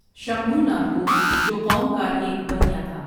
شمبھوناتھ کو جوقوم کا ایک بنیا تھا ۔